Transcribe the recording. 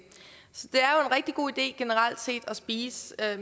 rigtig god idé generelt set at spise